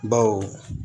Baw